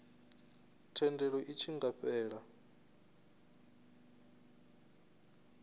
thendelo i tshi nga fhela